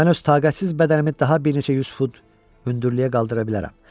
Mən öz taqətsiz bədənimi daha bir neçə yüz fut hündürlüyə qaldıra bilərəm.